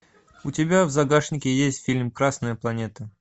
у тебя в загашнике есть фильм красная планета